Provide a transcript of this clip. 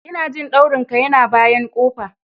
Injin daurin ka yana bayan kofa.